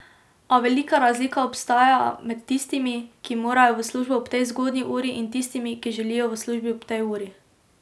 A velika razlika obstaja med tistimi, ki morajo v službo ob tej zgodnji uri in tistimi, ki želijo v službo ob tej uri.